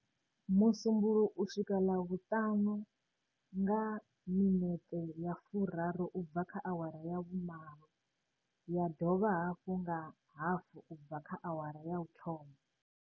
Musu mbuluwo u swika Ḽavhuṱanu nga 08h30 ya dovha hafhu nga 13h30.